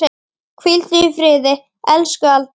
Hvíldu í friði, elsku Alda.